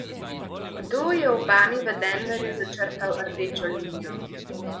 Kdo je Obami v Denverju začrtal rdečo linijo?